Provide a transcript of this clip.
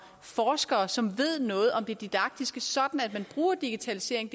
forskere som ved noget om det didaktiske sådan at man bruger digitalisering